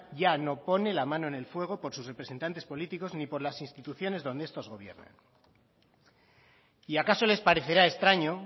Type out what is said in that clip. ya no pone la mano en el fuego por sus representantes políticos ni por las instituciones donde estos gobiernan y acaso les parecerá extraño